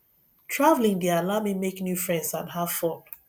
traveling dey allow me make new friends and have fun